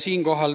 Tahan